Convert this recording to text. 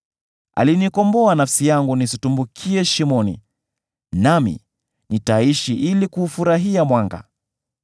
Alinikomboa nafsi yangu nisitumbukie shimoni, nami nitaishi ili kuufurahia mwanga.’